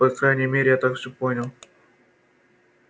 по крайней мере я так всё понял